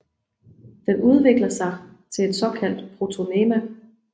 Den udvikler sig til et såkaldt protonema